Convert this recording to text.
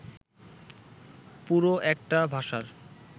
পুরো একটা ভাষার